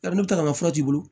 Ka n'o ta maforo t'i bolo